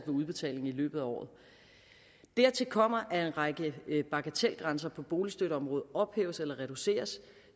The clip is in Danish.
udbetalingen i løbet af året dertil kommer at en række bagatelgrænser på boligstøtteområdet ophæves eller reduceres